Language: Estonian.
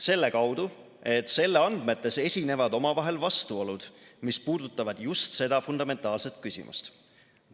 Selle kaudu, et selle andmetes esinevad omavahel vastuolud, mis puudutavad just seda fundamentaalset küsimust.